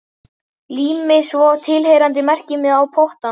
Lími svo tilheyrandi merkimiða á pottana.